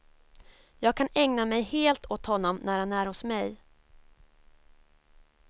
Jag kan ägna mig helt åt honom när han är hos mig.